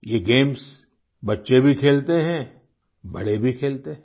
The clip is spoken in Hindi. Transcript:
ये गेम्स बच्चे भी खेलते हैं बड़े भी खेलते हैं